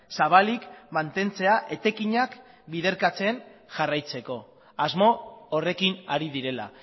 zabalik mantentzea etekinak biderkatzen jarraitzeko asmo horrekin ari direla